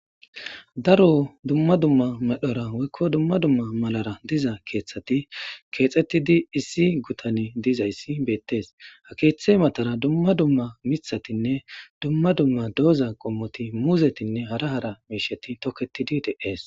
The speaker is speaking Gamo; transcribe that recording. Daro dumma dumma medhora woyko dumma dumma malara diza kethati Kexetidi issi gutanne dizays betese ha kethe matara dumma dumma mithatinne dumma dumma diza qommoti muzetinne hara hara mishati toketidi de'ese